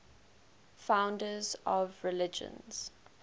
founders of religions